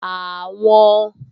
Àwọn